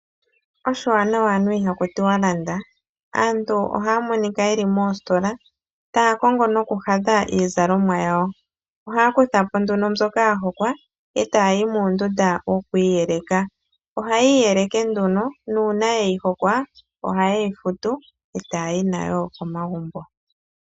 Oshiwanawa anuwa ihaku tiwa landa. Aantu ohaa monika ye li moositola, taa kongo nokuhadha iizalomwa yawo. Ohaa kutha po nduno mbyoka ya hokwa, e taa yi muundunda wokwiiyeleka. Ohaya iyeleke nduno, nuuna ye yi hokwa, ohaye yi futu, e taa yi nayo komagumbo.